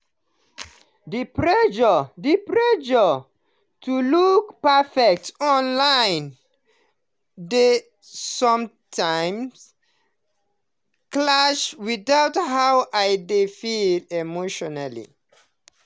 the pressure the pressure to look perfect online dey sometimes clash with how i dey feel emotionally.